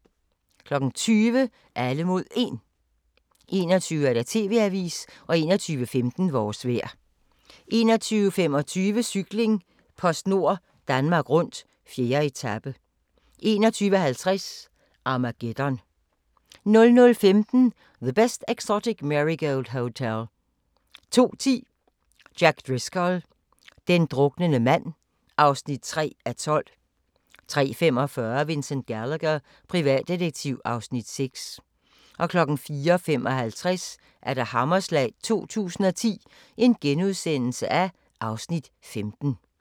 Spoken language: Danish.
20:00: Alle mod 1 21:00: TV-avisen 21:15: Vores vejr 21:25: Cykling: PostNord Danmark Rundt - 4. etape 21:50: Armageddon 00:15: The Best Exotic Marigold Hotel 02:10: Jack Driscoll – den druknende mand (3:12) 03:45: Vincent Gallagher, privatdetektiv (Afs. 6) 04:55: Hammerslag 2010 (Afs. 15)*